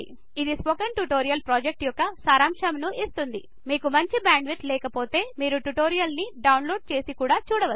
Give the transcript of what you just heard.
అది spoken tutorial project యొక్క సారాంశమును ఇస్తుంది మీకు మంచి బ్యాండ్విడ్త్ లేకపొతె మీరు ట్యుటోరియల్ డౌన్లోడ్ చెసి చూడొచ్చు